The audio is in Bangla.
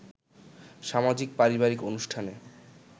সামাজিক-পারিবারিক অনুষ্ঠানে